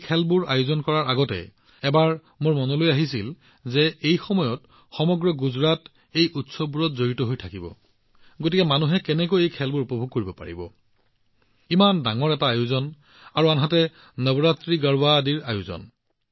এই খেলবোৰ আয়োজন কৰাৰ পূৰ্বে এবাৰ মোৰ মনলৈ আহিছিল যে এই সময়ত সমগ্ৰ গুজৰাট এই উৎসৱবোৰত জড়িত হৈ আছে গতিকে মানুহে কেনেকৈ এই খেলবোৰ উপভোগ কৰিব পাৰিব এনে ধৰণৰ বিস্তৃত ব্যৱস্থা আৰু আনহাতে নৱৰাত্ৰি গৰ্বাৰ ব্যৱস্থা ইত্যাদি